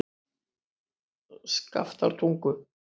Skaftártungu